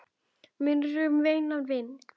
Minning um góðan vin lifir.